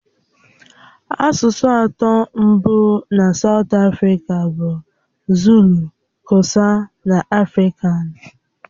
Asụsụ atọ mbụ na Saụt Afrịka bụ Zulu, Kosa na afrikan.